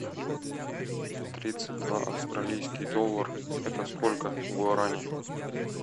тридцать два австралийский доллар это сколько гуарани